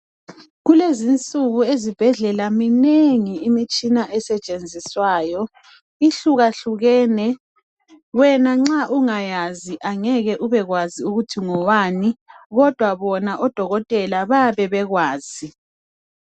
Kulezinsuku ezibhedlela minengi imitshina esetshenziswayo ihluka hlukene wena nxa ungayazi angeke ubekwazi ukuthi ngewani kodwa bona odokotela bayabe bekwazi.